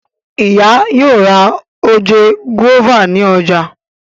Ìyá yóò rà oje guava ní ọjà.